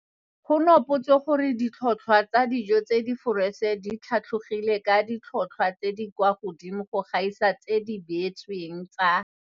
Go nopotswe gore ditlhotlhwa tsa dijo tse di foreše di tlhatlhogile ka ditlhotlhwa tse di kwa godimo go gaisa tseo di beetsweng tsa